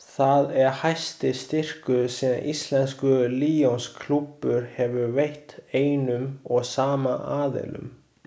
Það er hæsti styrkur sem íslenskur Lionsklúbbur hefur veitt einum og sama aðilanum.